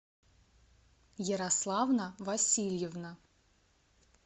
ярославна васильевна